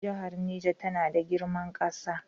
Jihar Niger tana da girman ƙasa.